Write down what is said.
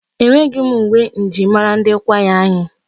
Enweghị m uwe njirimara ndi kwaya anyị.